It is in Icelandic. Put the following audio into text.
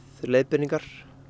leiðbeiningar